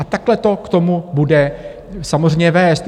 A takhle to k tomu bude samozřejmě vést.